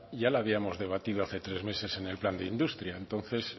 ya la habíamos debatido hace tres meses en el plan de industria entonces